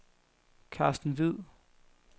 Carsten Hviid